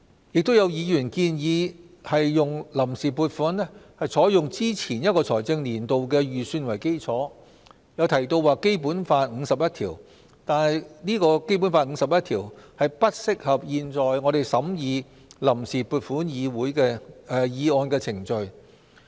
亦有議員建議臨時撥款採用之前一個財政年度的預算為基礎，又提到《基本法》第五十一條，但《基本法》第五十一條並不適用於現時正在審議的臨時撥款議案的程序。